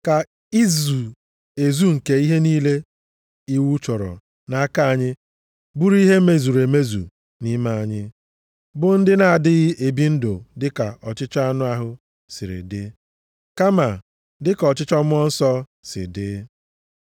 Ka izu ezu nke ihe niile iwu chọrọ nʼaka anyị bụrụ ihe e mezuru nʼime anyị, bụ ndị na-adịghị ebi ndụ dịka ọchịchọ anụ ahụ si dịrị, kama dịka ọchịchọ Mmụọ Nsọ si dị.